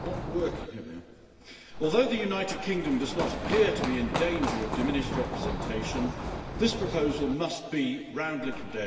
Mr President, although the United Kingdom does not appear to be in danger of diminished representation, this proposal must be roundly condemned.